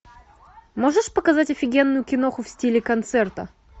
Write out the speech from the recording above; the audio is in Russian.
можешь показать офигенную киноху в стиле концерта